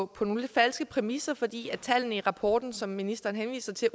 på nogle falske præmisser fordi tallene i rapporten som ministeren henviser til